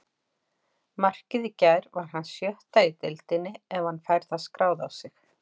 Markið í gær var hans sjötta í deildinni ef hann fær það skráð á sig.